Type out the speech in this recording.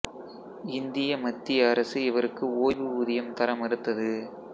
இந்திய மத்திய அரசு இவருக்கு ஓய்வு ஊதியம் தர மறுத்தது